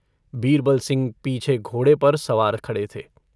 बीरबलसिंह पीछे घोड़े पर सवार खड़े थे।